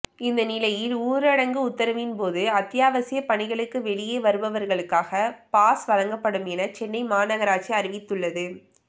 இந்த நிலையில் ஊரடங்கு உத்தரவின்போது அத்தியாவசிய பணிகளுக்கு வெளியே வருபவர்களுக்காக பாஸ் வழங்கப்படும் என சென்னை மாநகராட்சி அறிவித்துள்ளது